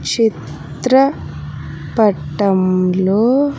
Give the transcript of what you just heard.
చిత్ర పట్టంలో.